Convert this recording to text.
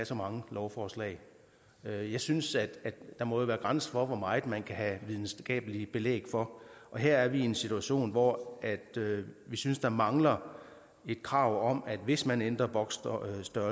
så mange lovforslag jeg jeg synes at der må være grænser for hvor meget man kan have videnskabeligt belæg for her er vi i en situation hvor vi synes der mangler et krav om at hvis man ændrer boksstørrelser